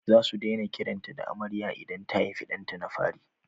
Za su daina kiranta da Ameriya idan ta haifi ɗanta na fari